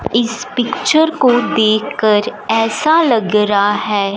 इस पिक्चर को देखकर ऐसा लग रहा है।